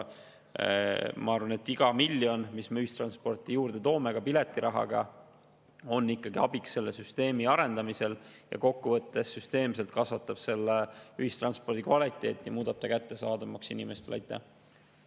Ma arvan, et iga miljon, mille me toome ühistransporti juurde ka piletirahaga, on ikkagi abiks selle süsteemi arendamisel ja kokkuvõttes parandab süsteemselt ühistranspordi kvaliteeti ja muudab selle inimestele kättesaadavamaks.